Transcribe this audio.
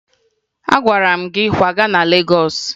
Agwara m gị kwaga na Legọọsụ!